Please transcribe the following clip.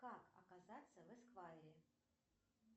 как оказаться в эсквайре